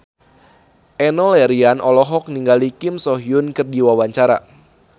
Enno Lerian olohok ningali Kim So Hyun keur diwawancara